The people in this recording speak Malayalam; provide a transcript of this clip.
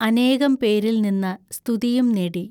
അനേകം പേരിൽ നിന്ന സ്തുതിയും നേടി.